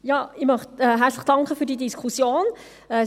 Ich möchte herzlich für die Diskussion danken.